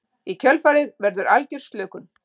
Í kjölfarið verður algjör slökun.